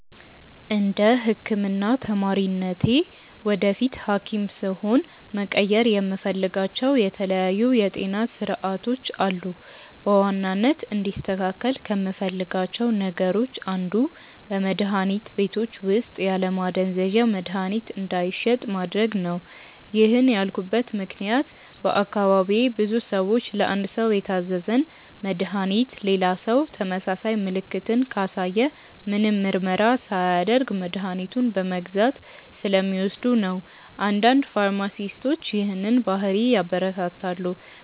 እንደ ህክምና ተማሪነቴ ወደፊት ሀኪም ስሆን መቀየር የምፈልጋቸው የተለያዩ የጤና ስርዓቶች አሉ። በዋናነት እንዲስተካከል ከምፈልጋቸው ነገሮች አንዱ በመድሀኒት ቤቶች ውስጥ ያለማዘዣ መድሀኒት እንዳይሸጥ ማድረግ ነው። ይህን ያልኩበት ምክንያት በአካባቢዬ ብዙ ሰዎች ለአንድ ሰው የታዘዘን መድሃኒት ሌላ ሰው ተመሳሳይ ምልክትን ካሳየ ምንም ምርመራ ሳያደርግ መድኃኒቱን በመግዛት ስለሚወስዱ ነው። አንዳንድ ፋርማሲስቶች ይህንን ባህሪ ያበረታታሉ።